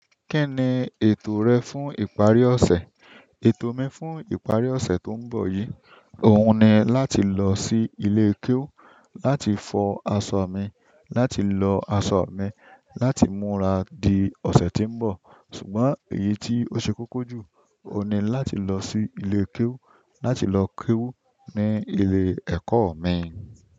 Kí ni ètò rẹ fún ìparí ọ̀sẹ̀? Ètò mi fún ìparí ọ̀sẹ̀ tó ń bọ̀ yìí, oun ni láti lọ sí ilé kéwú, láti fọ asọ mi, láti lọ asọ mi, láti múra di ọsẹ tí nbọ. Ṣùgbọ́n èyí tó ṣe kókó jù oun ni láti lọsi ilé kéwú, láti lọ kéwú ní ilé ẹkọ mi.